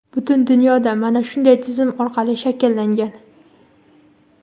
Butun dunyoda mana shunday tizim orqali shakllangan.